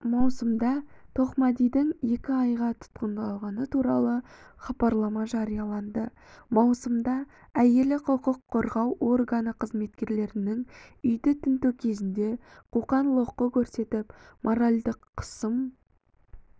маусымда тоқмәдидің екі айға тұтқындалғаны туралы хабарлама жарияланды маусымда әйелі құқық қорғау органы қызметкерлерінің үйді тінту кезінде қоқан-лоққы көрсетіп моральдық қысым